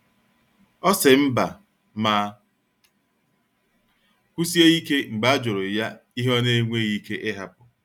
O si mba ma kwusie ike mgbe ajuru ya ihe ona enweghi ike ihapu